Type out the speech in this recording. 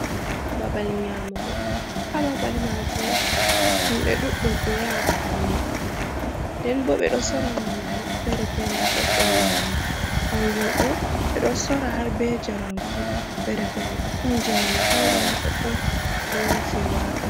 Babal nyamugo ha babal majum himɓe ɗuɗdum ɗo yaha babal mai. nden bo ɓe ɗo sora nyamdu fere fere ha ɗoɗɗon majum, kanjum ɗo ɓe ɗo sora har ɓe jaram fu fere fere ɗon jaram pewɗam ha doddon be fewaka.